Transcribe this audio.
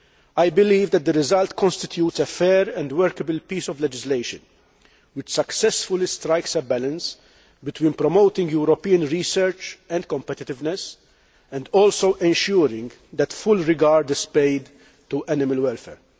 I believe that the result constitutes a fair and workable piece of legislation which successfully strikes a balance between promoting European research and competitiveness and also ensuring that full regard is paid to animal welfare.